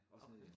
Også nede i